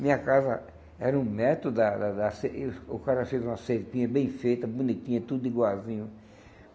Minha casa era um metro da da da cer... e o cara fez uma cerquinha bem feita, bonitinha, tudo igualzinho.